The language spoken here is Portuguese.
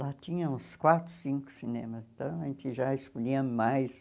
Lá tinha uns quatro, cinco cinemas, então a gente já escolhia mais.